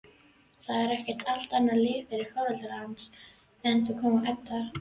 Það er allt annað líf fyrir foreldra hans, einkum Eddu.